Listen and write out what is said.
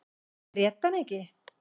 Grét hann ekki.